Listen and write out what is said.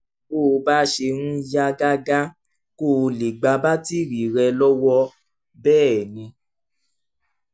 bó o bá ṣe ń yá gágá kó o lè gba batiri rẹ lọ́wọ́ bẹ́ẹ̀ ni